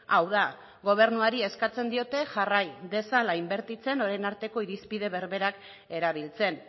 hau da gobernuari eskatzen diote jarrai dezala inbertitzen orain arteko irizpide berberak erabiltzen